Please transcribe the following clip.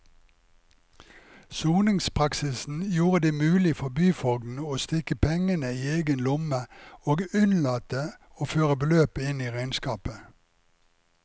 Soningspraksisen gjorde det mulig for byfogden å stikke pengene i egen lomme og unnlate å føre beløpet inn i regnskapet.